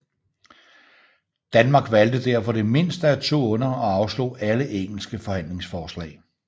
Danmark valgte derfor det mindste af to onder og afslog alle engelske forhandlingsforslag